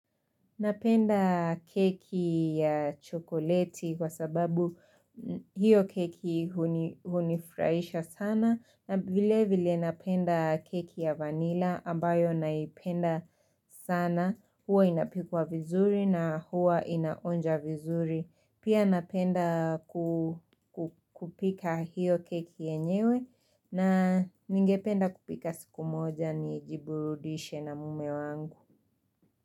Napenda keki ya chokoleti kwa sababu hiyo keki hunifurahisha sana na vile vile napenda keki ya vanila ambayo naipenda sana, huwa inapikwa vizuri na huwa inaonja vizuri. Pia napenda kupika hiyo keki yenyewe na ningependa kupika siku moja nijiburudishe na mume wangu.